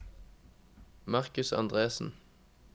Marcus Andresen